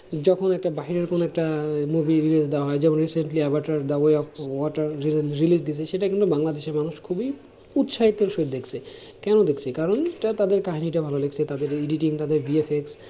যখন একটা বাহিরের কোনো একটা movie reels দেওয়া হয়, যেমন recently Avatar the way of water release দিয়েছে সেটা কিন্তু বাংলাদেশের মানুষ খুবই উৎসাহের সহিত দেখছে, কেন দেখছে কারণ যে তাদের কাহিনীটা ভালো লেগেছে, তাদের editing তাদের VFX